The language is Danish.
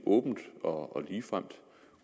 åbent og ligefremt